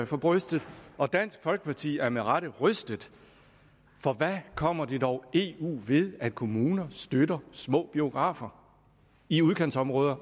for brystet og dansk folkeparti er med rette rystet for hvad kommer det dog eu ved at kommuner støtter små biografer i udkantsområder